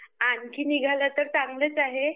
आणखी निघाल्या तर चांगलंच आहे